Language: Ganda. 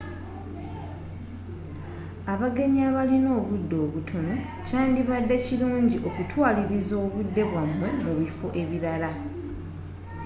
abagenyi abalina obudde obutono kyandibadde kirungi okutwaliriza obudde bwabwe mu biffo ebirala